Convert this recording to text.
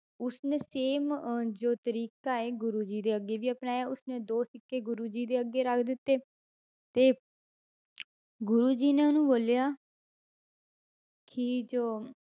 ਉਸਨੇ same ਅਹ ਜੋ ਤਰੀਕਾ ਹੈ ਗੁਰੂ ਜੀ ਦੇ ਅੱਗੇ ਵੀ ਅਪਨਾਇਆ ਉਸਨੇ ਦੋ ਸਿੱਕੇ ਗੁਰੂ ਜੀ ਦੇ ਅੱਗੇ ਰੱਖ ਦਿੱਤੇ ਤੇ ਗੁਰੂ ਜੀ ਨੇ ਉਹਨੂੰ ਬੋਲਿਆ ਕਿ ਜੋ